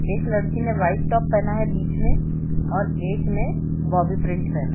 एक लड़की ने वाइट टॉप पहना है बीच मे और एक ने बोब्बी प्रिंट पहना है।